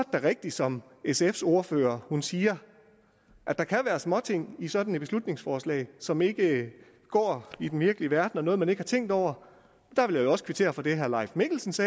da rigtigt som sfs ordfører siger at der kan være småting i sådan et beslutningsforslag som ikke går i den virkelige verden og noget man ikke har tænkt over jeg vil også kvittere for det herre leif mikkelsens